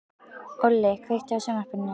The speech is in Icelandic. Olli, kveiktu á sjónvarpinu.